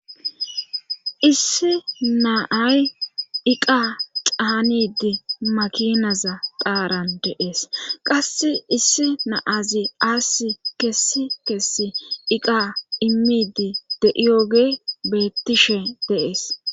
Issi naay iqa caanidi makinaza qaaran deees qasse issi naazi aasi kessi kessi iqa immidi de7iyoge beettishe deees.